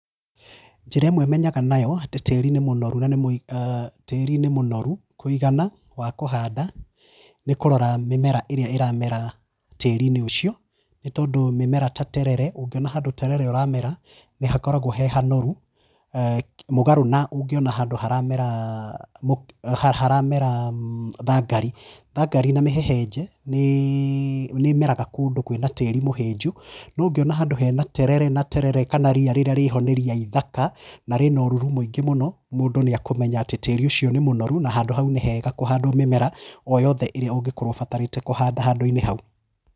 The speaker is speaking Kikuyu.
Njĩra ĩmwe menyaga nayo atĩ tĩri nĩ mũnoru na nĩ tĩri ni mũnoru kũigana, wa kũhanda, nĩ kũrora mĩmera ĩrĩa ĩramera tĩriinĩ ũcio, nĩ tondũ mĩmera ta terere, ũngiona handũ terere ũramera nĩ, hakoragwo he hanoru mũgarũ na ũngĩona handũ haramera haramera thangari. Thangari na mĩheheje nĩ nĩĩmeraga kũndũ kwĩna tĩri mũhĩnju. No ũngĩona handũ hena terere na terere kana ria rĩrĩa rĩ ho nĩ ria ithaka na rĩna ũruru mũingĩ mũno mũndũ nĩekũmenya atĩ tĩri ũcio nĩ mũnoru na handũ hau nĩ hega kũhandwo mĩmera, o yothe ĩrĩa ũngĩkorwo ũbatarĩte kũhanda handũ-inĩ hau